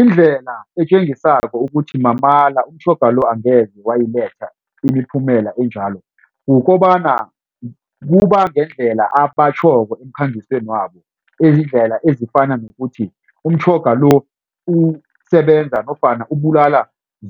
Indlela etjengisako ukuthi mamala umtjhoga lo angeze wayiletha imiphumela enjalo. Kukobana kuba ngendlela abatjhoko emkhangisweni wabo ezizindlela ezifana nokuthi umtjhoga lo usebenza nofana ubulala